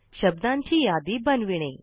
शब्दांची यादी बनविणे